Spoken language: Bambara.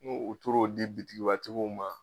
N'u t'or'o di bitigibatigiw ma